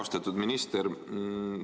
Austatud minister!